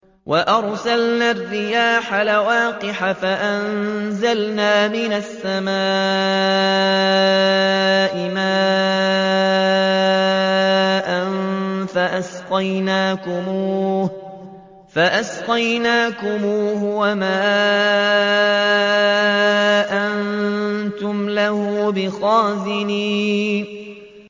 وَأَرْسَلْنَا الرِّيَاحَ لَوَاقِحَ فَأَنزَلْنَا مِنَ السَّمَاءِ مَاءً فَأَسْقَيْنَاكُمُوهُ وَمَا أَنتُمْ لَهُ بِخَازِنِينَ